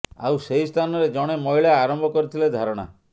ଆଉ ସେହି ସ୍ଥାନରେ ଜଣେ ମହିଳା ଆରମ୍ଭ କରିଥିଲେ ଧାରଣା